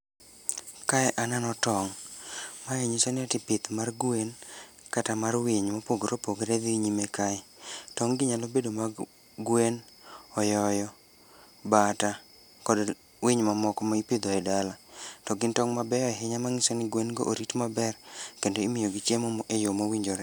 Kae aneno tong', mae yiso ni ati pith mar gwen kata mar winy mopogore opogore dhi nyime kae. Tong' gi nyalo bedo mag gwen, oyoyo, bata, kod winy mamoko ma ipidho e dala. To gin tong' mabeyo ahinya ma nyiso ni gwen go orit maber kendo imiyogi chiemo e yo mowinjore.